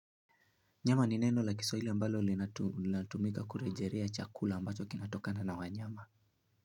Nyama ni neno la kiswahili ambalo linatumika kurejelea chakula ambacho kinatokana na wanyama.